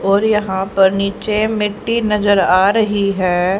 और यहां पर नीचे मिट्टी नजर आ रही है।